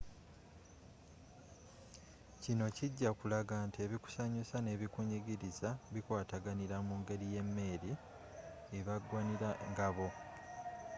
kino kijja kulaga nti ebikusanyusa n'ebikunyigiliza bikwatagana mungeri yemmeeri ebagwanira ngabo